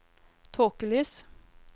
tåkelys